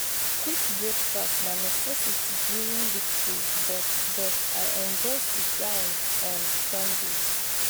quick breakfast na necessity during weekdays but but i enjoy sit-down on sundays.